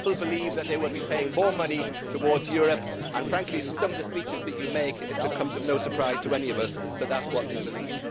People believe that they will be paying more money towards Europe and, frankly, with some of the speeches that you make, it comes as no surprise to any of us that that is what they believe.